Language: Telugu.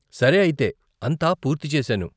సరే అయితే, అంతా పూర్తి చేసాను.